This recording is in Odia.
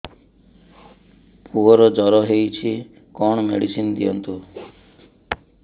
ପୁଅର ଜର ହଉଛି କଣ ମେଡିସିନ ଦିଅନ୍ତୁ